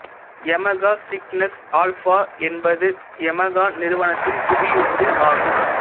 Yamaha Cygnus Alpha என்பது Yamaha நிறுவனத்தின் குவியுந்து ஆகும்